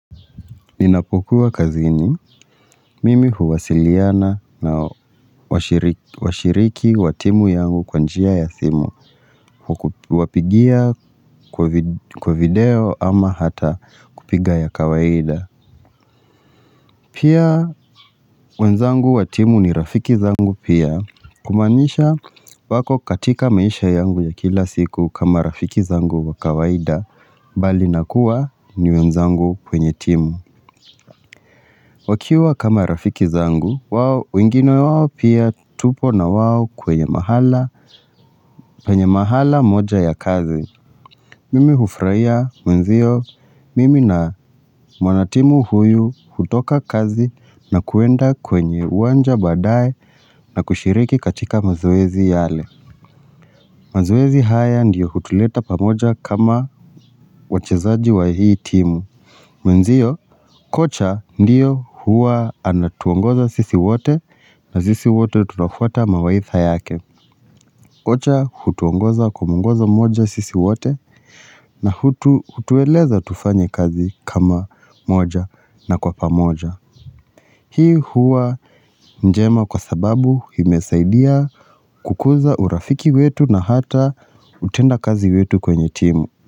Ninapokuwa kazini, mimi huwasiliana na washiriki wa timu yangu kwa njia ya simu. Hukupigia kwa video ama hata kupiga ya kawaida. Pia, wenzangu wa timu ni rafiki zangu pia. Kumaanisha wako katika maisha yangu ya kila siku kama rafiki zangu wa kawaida, bali na kuwa ni wenzangu kwenye timu. Wakiwa kama rafiki zangu, wengine wawo pia tupo na wao kwenye mahala, penye mahala moja ya kazi. Mimi hufrahia mwenzio, mimi na mwanatimu huyu hutoka kazi na kuenda kwenye uwanja baadaye na kushiriki katika mazoezi yale. Mazoezi haya ndiyo hutuleta pamoja kama wachezaji wa hii timu. Mwenzio, kocha ndiyo huwa anatuongoza sisi wote na sisi wote tunafuata mawaidha yake. Kocha hutuongoza kwa mwongozo mmoja sisi wote na hutueleza tufanye kazi kama moja na kwa pamoja. Hii huwa njema kwa sababu imesaidia kukuza urafiki wetu na hata utenda kazi wetu kwenye timu.